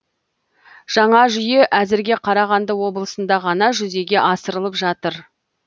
жаңа жүйе әзірге қарағанды облысында ғана жүзеге асырылып жатыр